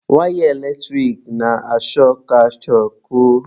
Waya eletrik na-ashọkụ achọkụ.